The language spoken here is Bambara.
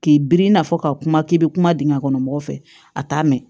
K'i biri i n'a fɔ ka kuma k'i be kuma dingɛ kɔnɔ mɔgɔ fɛ a t'a mɛn